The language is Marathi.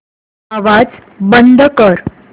आवाज बंद कर